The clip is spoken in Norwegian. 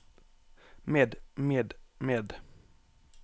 med med med